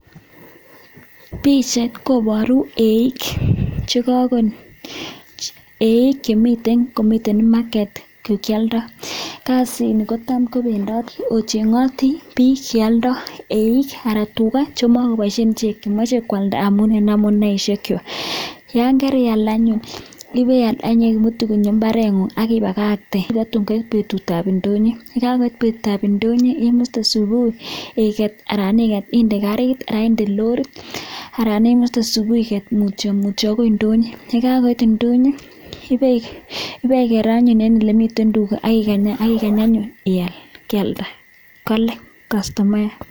pichaiit koparuu eiik chemiten yuuu komite(market) ako kaalnda chito tuga ichuu amuun yakaial anyuun iketu kionyoo kot nguu akoi npetut ap indinyoo akipaii ko petut ap indonyoo iipchiii kastomaeek pa konyor tuga chekararn